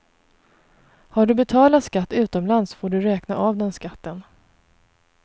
Har du betalat skatt utomlands får du räkna av den skatten.